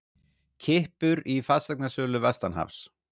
Kippur í fasteignasölu vestanhafs